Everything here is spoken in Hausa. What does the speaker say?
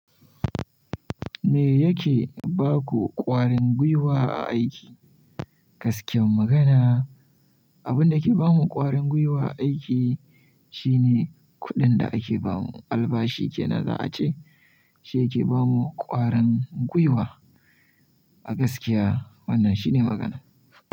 Me yake ba ku ƙwarin gwiwa a aiki? Gaskiyar magana, abun da ke ba mu ƙwarin gwiwa a aiki shine kuɗin da ake ba mu. Albashi ke na za a ce. Shi yake ba mu ƙwarin gwiwa a gaskiya. Wannan shine magana.